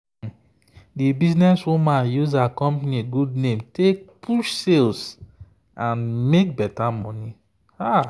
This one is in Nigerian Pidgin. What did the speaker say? the businesswoman use her company good name take push sales and make better money.